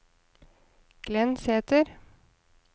Glenn Sæther